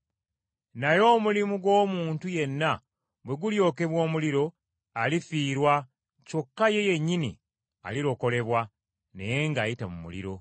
Naye omulimu gw’omuntu yenna bwe gulyokebwa omuliro, alifiirwa, kyokka ye yennyini alirokolebwa, naye ng’ayita mu muliro.